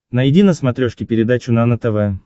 найди на смотрешке передачу нано тв